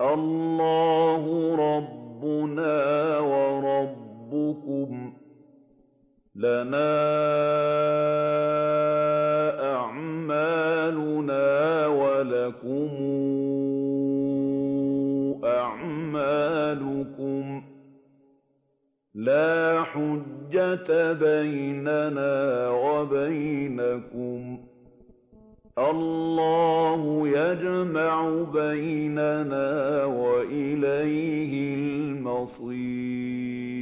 اللَّهُ رَبُّنَا وَرَبُّكُمْ ۖ لَنَا أَعْمَالُنَا وَلَكُمْ أَعْمَالُكُمْ ۖ لَا حُجَّةَ بَيْنَنَا وَبَيْنَكُمُ ۖ اللَّهُ يَجْمَعُ بَيْنَنَا ۖ وَإِلَيْهِ الْمَصِيرُ